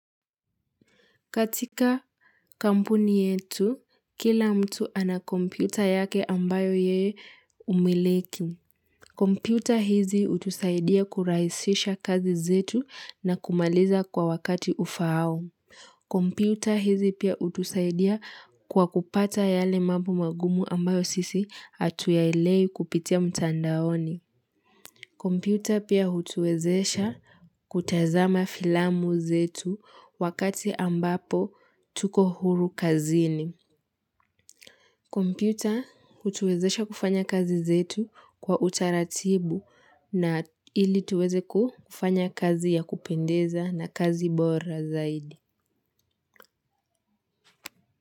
Katika kampuni yetu, kila mtu ana komputa yake ambayo yeye humiliki. Komputa hizi hutusaidia kurahisisha kazi zetu, na kumaliza kwa wakati ufaao. Komputa hizi pia hutusaidia kwa kupata yale mambo magumu, ambayo sisi hatuyaelewi kupitia mtandaoni. Komputa pia hutuwezesha kutazama filamu zetu, wakati ambapo tuko huru kazini. Komputa hutuwezesha kufanya kazi zetu kwa utaratibu, na ili tuweze kufanya kazi ya kupendeza na kazi bora zaidi.